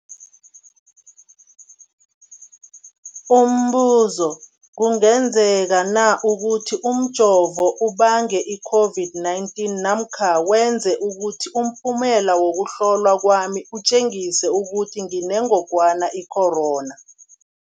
Umbuzo, kungenzekana ukuthi umjovo ubange i-COVID-19 namkha wenze ukuthi umphumela wokuhlolwa kwami utjengise ukuthi nginengogwana i-corona?